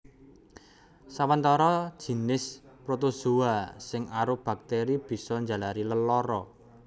Sawatara jinis protozoa sing arupa baktèri bisa njalari lelara